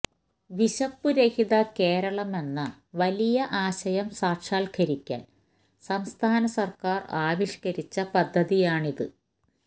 വിശപ്പു രഹിത കേരളമെന്ന വലിയ ആശയം സാക്ഷാത്കരിക്കാൻ സംസ്ഥാന സർക്കാർ ആവിഷ്കരിച്ച പദ്ധതിയാണിത്